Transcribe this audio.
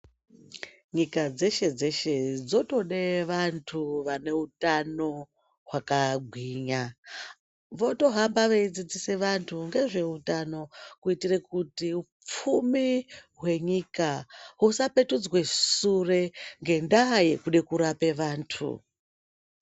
Nyika dzeshe-dzeshe dzotode vantu vane utano hwakagwinya. Votohamba veidzidzise vantu ngezveutano, kuitire kuti upfumi hwenyika husapetudzwe sure ngendaa yekude kurape vantu.